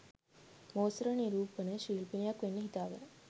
මෝස්තර නිරූපින ශිල්පිනියක් වෙන්න හිතාගෙන